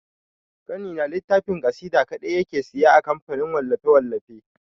Ƙanina littafin ƙasida kaɗe yake siya a kamfanin wallafe-wallafe.